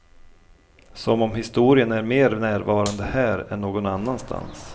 Som om historien är mer närvarande här än någon annanstans.